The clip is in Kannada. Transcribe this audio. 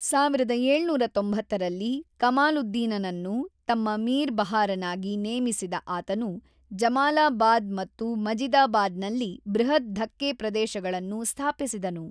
೧೭೯೦ರಲ್ಲಿ ಕಮಾಲುದ್ದೀನನನ್ನು ತಮ್ಮ ಮೀರ್ ಬಹಾರನಾಗಿ ನೇಮಿಸಿದ ಆತನು ಜಮಾಲಾಬಾದ್ ಮತ್ತು ಮಜಿದಾಬಾದಿನಲ್ಲಿ ಬೃಹತ್ ಧಕ್ಕೆ ಪ್ರದೇಶಗಳನ್ನು ಸ್ಥಾಪಿಸಿದನು.